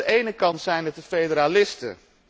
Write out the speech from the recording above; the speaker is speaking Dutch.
Aan de ene kant zijn het de federalisten